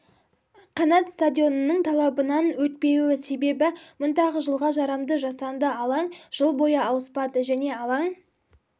қанат стадионының талабынан өтпеуі себебі мұндағы жылға жарамды жасанды алаң жыл бойы ауыспады және алаң